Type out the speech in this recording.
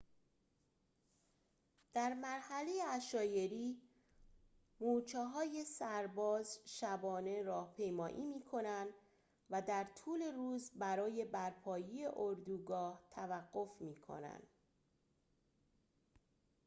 در مرحله عشایری مورچه‌های سرباز شبانه راهپیمایی می‌کنند و در طول روز برای برپایی اردوگاه توقف می‌کنند